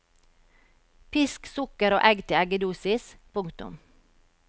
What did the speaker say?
Pisk sukker og egg til eggedosis. punktum